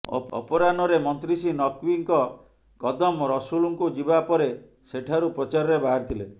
ଅପରାହ୍ନରେ ମନ୍ତ୍ରୀ ଶ୍ରୀ ନକ୍ବୀଙ୍କ କଦମ ରସୁଲ୍କୁ ଯିବା ପରେ ସେଠାରୁ ପ୍ରଚାରରେ ବାହାରିଥିଲେ